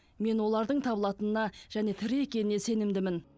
мен олардың табылатынына және тірі екеніне сенімдімін